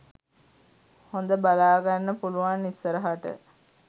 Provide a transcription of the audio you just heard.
හොද බලාගන්න පුලුවන් ඉස්සරහට